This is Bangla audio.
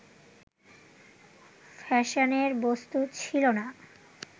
ফ্যাশনের বস্তু ছিল না